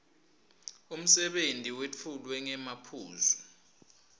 umsebenti wetfulwe ngemaphuzu